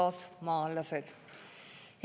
Head kaasmaalased!